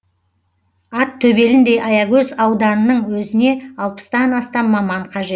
ат төбеліндей аягөз ауданның өзіне алпыстан астам маман қажет